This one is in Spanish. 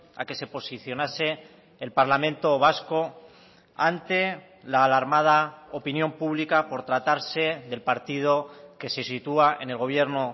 a que se posicionase el parlamento vasco ante la alarmada opinión pública por tratarse del partido que se sitúa en el gobierno